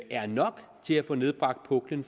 er nok til at få nedbragt puklen